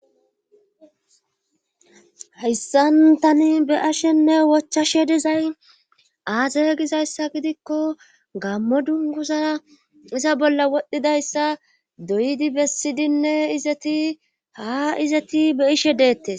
Hayssantani be ashenne wochchashe dizay aaze gizayssa gidikko gammo dunguza iza bolla wodhdhidayssa doyidi bessidinne izeti haa izeti be ishe deette